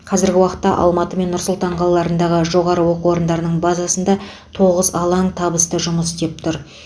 қазіргі уақытта алматы мен нұр сұлтан қалаларындағы жоғары оқу орындарының базасында тоғыз алаң табысты жұмыс істеп тұр